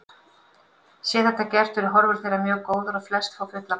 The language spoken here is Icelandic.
Sé þetta gert eru horfur þeirra mjög góðar og flest fá fullan bata.